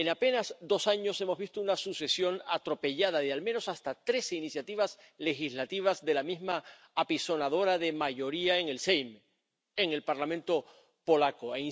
En apenas dos años hemos visto una sucesión atropellada de, al menos, hasta tres iniciativas legislativas de la misma apisonadora mayoría en el Sejm en el Parlamento polaco.